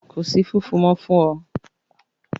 Ko si fufu mọ fun ọ!